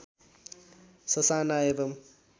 ससाना एवम्